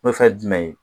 O fɛn ye jumɛn ye